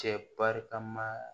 Cɛ barikama